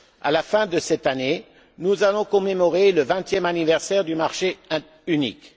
À la fin de cette année, nous allons commémorer le vingtième anniversaire du marché unique.